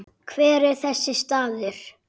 Hver er þessi staður?